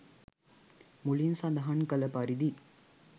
මුලින් සඳහන් කළ පරිදි